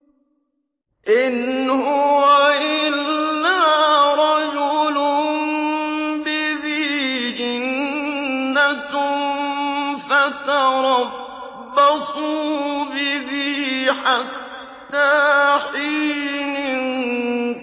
إِنْ هُوَ إِلَّا رَجُلٌ بِهِ جِنَّةٌ فَتَرَبَّصُوا بِهِ حَتَّىٰ حِينٍ